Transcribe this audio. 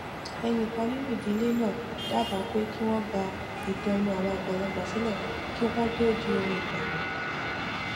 ẹnìkan nínú ìdílé náà dábàá pé kí wón gba ìtàn ẹnu àwọn àgbàlagbà sílè kí wón tó di ohun ìgbàgbé